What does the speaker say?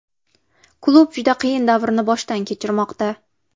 Klub juda qiyin davrni boshdan kechirmoqda.